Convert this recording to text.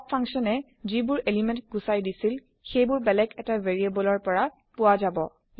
pop function এ যিবোৰ element গুচাই দিছিল সেই বোৰ বেলেগ এটা ভেৰিএবল ৰ পৰা পোৱা যাব